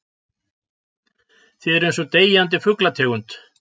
Þið eruð einsog deyjandi fuglategund.